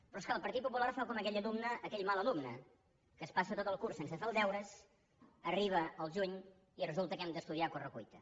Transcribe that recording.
però és clar el partit popular fa com aquell alumne aquell mal alumne que es passa tot el curs sense fer els deures arriba el juny i resulta que hem d’estudiar a correcuita